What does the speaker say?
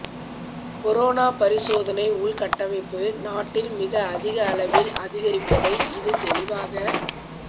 corona பரிசோதனை உள்கட்டமைப்பு நாட்டில் மிக அதிக அளவில் அதிகரித்திருப்பதை இது தெளிவாக